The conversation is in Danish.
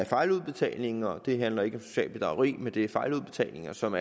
fejludbetalinger det handler ikke om socialt bedrageri men det er fejludbetalinger som